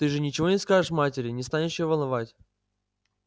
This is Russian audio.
ты же ничего не скажешь матери не станешь её волновать